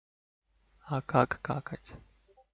а как какать